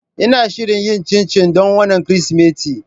Ina shirin yin cincin don wannan Kirsimeti.